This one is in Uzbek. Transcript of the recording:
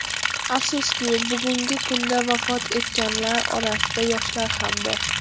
Afsuski, bugungi kunda vafot etganlar orasida yoshlar ham bor.